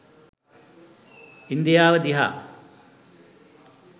ඉන්දියාව දිහා.